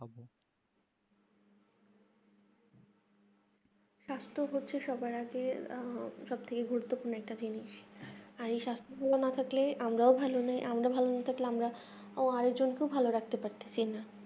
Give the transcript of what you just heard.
সাস্থ হচ্ছে সবার আগে সবথেকে গুরুপ্ত পূর্ণ একটা জিনিস এর এ সাস্থ ভালো না থাকলে আমরাও ভালো নেই আমাদের ভালো না থাকলে আমরা ভালো রাখতে পারতেসিনা